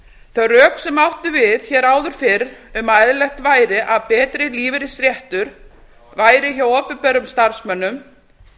þau rök sem áttu við hér áður fyrr um að eðlilegt væri að betri lífeyrisréttur væri hjá opinberum starfsmönnum